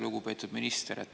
Lugupeetud minister!